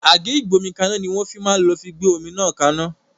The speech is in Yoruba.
Àgé Ìgbómikanna ni wọn fi máa lò fi gbé omi náà kaná